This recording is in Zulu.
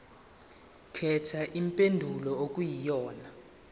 khetha impendulo okuyiyona